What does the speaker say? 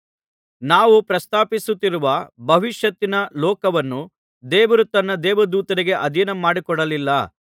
ನಾವು ಪ್ರಸ್ತಾಪಿಸುತ್ತಿರುವ ಭವಿಷ್ಯತ್ತಿನ ಲೋಕವನ್ನು ದೇವರು ತನ್ನ ದೇವದೂತರಿಗೆ ಅಧೀನ ಮಾಡಿಕೊಡಲಿಲ್ಲ